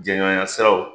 Jɛɲɔgɔnya siraw